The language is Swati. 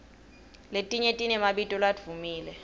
letinye tinemabito ladvumile